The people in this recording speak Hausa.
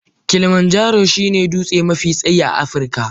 Kilimanjaro shine dutse mafi tsayi a Afirka.